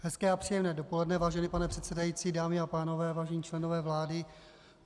Hezké a příjemné dopoledne, vážený pane předsedající, dámy a pánové, vážení členové vlády.